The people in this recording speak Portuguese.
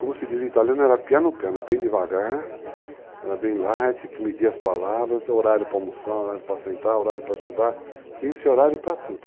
Como se diz em italiano, era pianocano, é bem devagar, era bem light, tinha que medir as palavras, horário para almoçar, horário para sentar, horário para estudar, tinha esse horário para tudo.